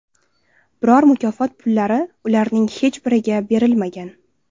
Biroq mukofot pullari ularning hech biriga berilmagan.